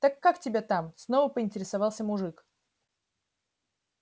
так как тебя там снова поинтересовался мужик